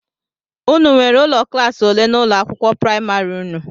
Ụnụ nwèrè ụlọ klaasi ole n'ụlọ akwụkwọ praịmarị ụnụ?